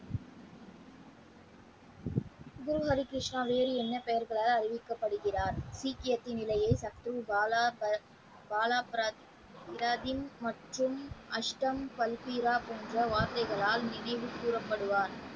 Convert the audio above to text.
குரு ஹரி கிருஷ்ணா வேறு என்ன பெயர்களால் அறிவிக்கப்படுகிறார் சீக்கியத்தின் நிலையில் சத்குரு பாலா பாலா பிராதின் மற்றும் அஸ்தம் பல்பீரா போன்ற வார்த்தைகளால் நினைவு கூறப்படுவார்.